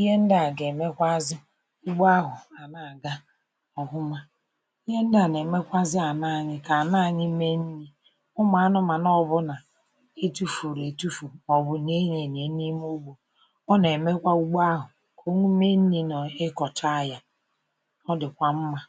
Ihe ndị a ga-emekwụazị ugbo ahụ a na-aga ọfụma. Ihe ndị a na-emekwaụazị ana anyị ka ana anyị mee nni. Ụmụ anụmanụ ọbụna e tufuru etufu maọbụ nyie ya enyie n'ime ugbo, ọ na-emekwa ugbo ahụ ka o mee nni ma ị kọchaa ya. Ọ dịkwa mma.